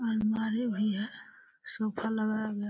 पानवारी भैया सोफा लगाया गया --